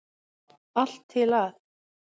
Allt til að